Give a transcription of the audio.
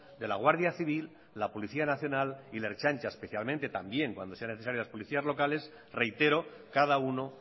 de la guardia civil la policía nacional y la ertzaintza especialmente también cuando sea necesario las policías locales reitero cada uno